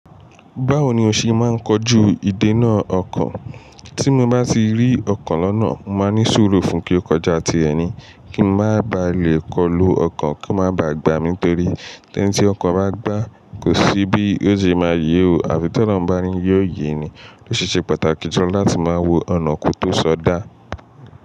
Báwo ni o ṣe máa ń kojú ìdènà ọko? Tí mo bá ti rí ọko lọ́nà, mo máa ní sùúrù fún kí ó kọjá ti ẹ̀ní kí n má ba à le kọlu ọko kí ó má ba à gbà mi, nítorí eni tí ọko bá gbàá, kò sí bí ó ṣe máa yè o, àfi tọ́lorun bá ni yóò yè ni. Ó ṣi ṣe pàtàkì fun ọ láti máa wo ọ̀nà ko tó sọ dá.